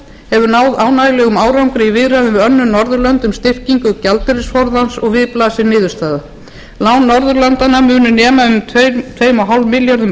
hefur náð ánægjulegum árangri í viðræðum við önnur norðurlönd í viðræðum um styrkingu gjaldeyrisforðans og við blasir niðurstaða lán norðurlandanna munu nema um tvö komma fimm milljörðum